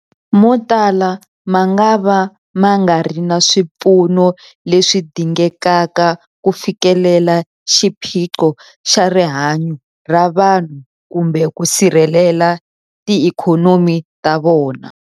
Motala mangava ma nga ri na swipfuno leswi dingekaka ku fikelela xiphiqo xa rihanyu ra vanhu kumbe ku sirhelela tiikhonomi ta vona.